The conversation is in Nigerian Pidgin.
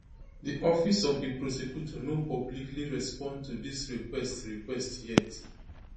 di office of di prosecutor no publicly respond to dis request request yet